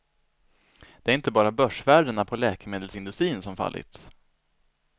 Det är inte bara börsvärdena på läkemedelsindustrin som fallit.